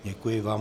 Děkuji vám.